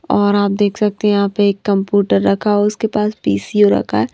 और आप देख सकते हैंयहां पे एक कंप्यूटर रखा हैउसके पास पीसीओ रखा है।